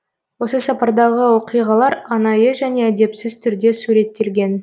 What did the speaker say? осы сапардағы оқиғалар анайы және әдепсіз түрде суреттелген